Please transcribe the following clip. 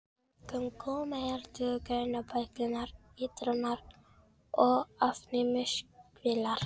Einkum koma hér til greina bæklunar-, eitrunar- og ofnæmiskvillar.